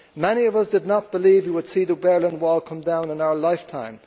Many of us did not believe we would see the Berlin Wall come down in our lifetime.